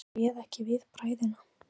Hann réð ekki við bræðina.